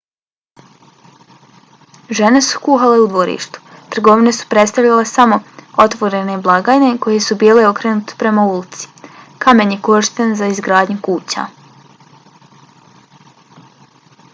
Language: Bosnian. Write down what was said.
žene su kuhale u dvorištu; trgovine su predstavljale samo otvorene blagajne koje su bile okrenute prema ulici. kamen je korišten za izgradnju kuća